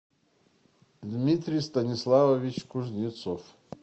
дмитрий станиславович кузнецов